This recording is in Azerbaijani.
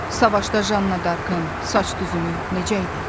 Savaşda Janna Darkın saç düzümü necə idi?